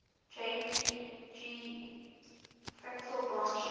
jpg fractal branching